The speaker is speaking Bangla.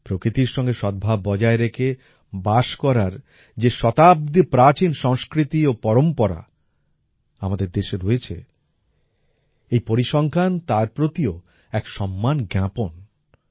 প্রকৃতির সঙ্গে সদ্ভাব বজায় রেখে বাস করার যে শতাব্দী প্রাচীন সংস্কৃতি ও পরম্পরা আমাদের দেশে রয়েছে এই পরিসংখ্যান তার প্রতিও এক সম্মান জ্ঞাপন